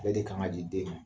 Ale de kan ka di den ma.